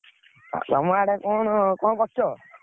ତମେ ଆଡେ କଣ, କଣ କରୁଛ?